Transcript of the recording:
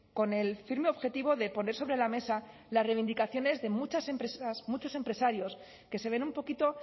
con el firme objetivo de poner sobre la mesa las reivindicaciones de muchas empresas muchos empresarios que se ven un poquito